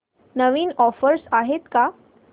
नवीन offers आहेत का